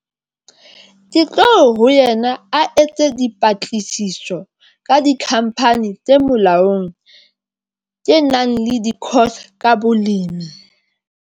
Ke tlo ho yena a etse dipatlisiso ka di-company tse molaong, tse nang le di-course ka bolemi.